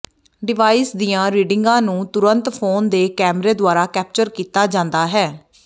device ਦੀਆਂ ਰੀਡਿੰਗਾਂ ਨੂੰ ਤੁਰੰਤ ਫੋਨ ਦੇ ਕੈਮਰੇ ਦੁਆਰਾ ਕੈਪਚਰ ਕੀਤਾ ਜਾਂਦਾ ਹੈ